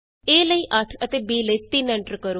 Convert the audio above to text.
a ਲਈ 8 ਅਤੇ b ਲਈ 3 ਐਂਟਰ ਕਰੋ